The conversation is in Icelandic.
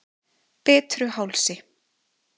Bitruhálsi